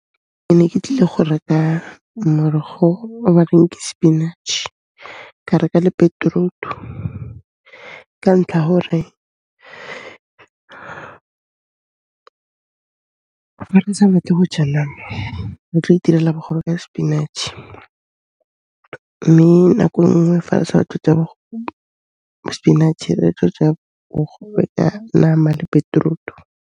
Ke ne ke tlile go reka morogo o ba reng ke spinach, ka reka le beetroot-u ka ntlha hore fa re sa batle go ja nama, re tlo itirela bogobe ka spinach mme nako nngwe fa re sa batle go ja bo spinach, re tlo ja bogobe ka nama le beetroot-u.